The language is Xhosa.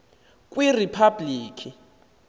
kwiriphabliki